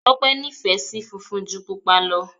Tọ́pẹ́ nífẹ̀ẹ́ sí funfun ju Pupa lọ.